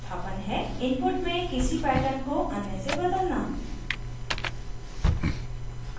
input में किसी pattern को अन्य से बदलना